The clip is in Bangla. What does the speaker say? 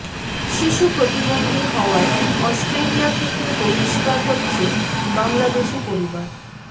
শিশু প্রতিবন্ধী হওয়ায় অস্ট্রেলিয়া থেকে বহিষ্কার হচ্ছে বাংলাদেশি পরিবার